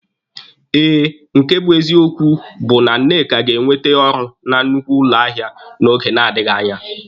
Eh, nke bụ eziokwu bụ na Nneka ga-enwete ọrụ na nnukwu ụlọ ahịa n'oge na-adịghị anya